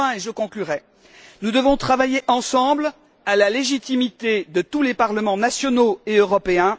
Enfin, et je conclurai, nous devons travailler ensemble à la légitimité de tous les parlements nationaux et du Parlement européen.